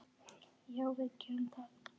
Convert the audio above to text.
Já, við gerum það.